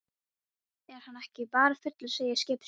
Er hann ekki bara fullur, segir skipstjórinn.